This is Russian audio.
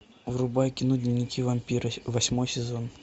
врубай кино дневники вампира восьмой сезон